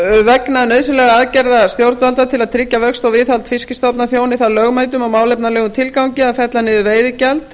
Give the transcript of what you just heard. vegna nauðsynlegra aðgerða stjórnvalda til að tryggja vöxt og viðhald fiskstofna þjóni það lögmætum og málefnalegum tilgangi að fella niður veiðigjald